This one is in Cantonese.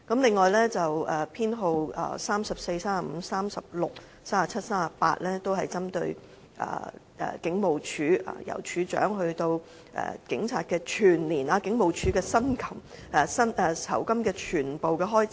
修正案編號34、35、36、37及38則針對香港警務處，關乎由處長到警察，整個警務處全部酬金的預算開支。